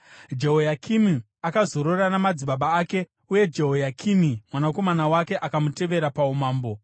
Jehoyakimi akazorora namadzibaba ake. Uye Jehoyakini, mwanakomana wake akamutevera paumambo.